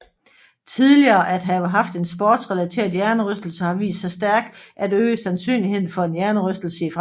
Tidligere at have haft en sportsrelateret hjernerystelse har vist sig stærkt at øge sandsynligheden for en hjernerystelse i fremtiden